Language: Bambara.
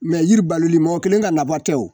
yiri baloli mɔgɔ kelen ka nafa tɛ wo